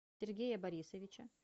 сергея борисовича